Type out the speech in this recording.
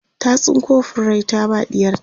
ta tsinko furrai ta ba ɗiyarta